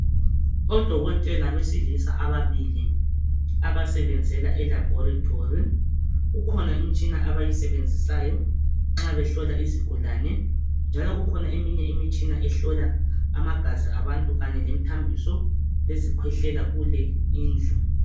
Odokotela besilisa ababili abasebenzela elabhorethi. Kukhona imitshina abayisebenzisayo nxa behlola izigulane njalo kukhona eminye imitshina ehlola amagazi abantu kanye lemithambiso lezikhwehlela kule indlu.